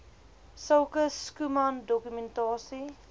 sulke schoeman dokumentasie